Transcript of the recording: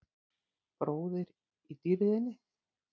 Bróðir í dýrðinni.